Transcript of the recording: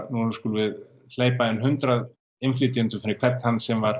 nú skulum við hleypa in n hundrað innflytjendum fyrir hvern þann sem var